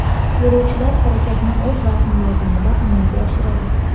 Yo‘lovchilar harakatni o‘z vazni yordamida amalga oshiradi.